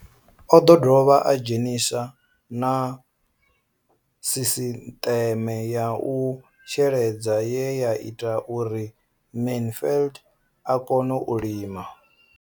O ḓo dovha a dzhenisa na sisiṱeme ya u sheledza ye ya ita uri Mansfied a kone u lima.